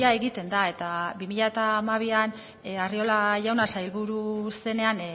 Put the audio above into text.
egiten da eta bi mila hamabian arriola jauna sailburu zenean